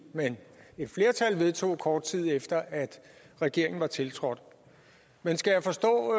men et flertal vedtog kort tid efter at regeringen var tiltrådt men skal jeg forstå